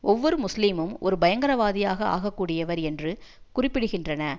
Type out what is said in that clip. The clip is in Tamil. ஒவ்வொரு முஸ்லீமும் ஒரு பயங்கரவாதியாக ஆக கூடியவர் என்று குறிப்பிடுகின்றன